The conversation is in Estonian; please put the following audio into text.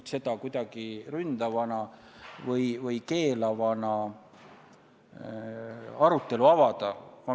Ja seda ma küll kinnitan – ma usun siiralt, et ka teised komisjoni liikmed võivad kinnitada –, et kelleltki ei võetud ära võimalust oma seisukohta avaldada ja kelleltki ei võetud ära võimalust esitada küsimusi.